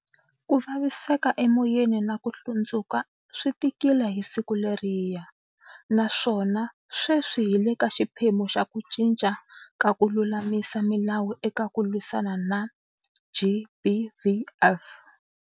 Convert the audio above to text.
Ku vaviseka emoyeni na ku hlundzuka a swi tikile hi siku leriya. Naswona sweswi hi le ka xiphemu xa ku cinca ka ku lulamisa milawu eka ku lwisana na, GBVF.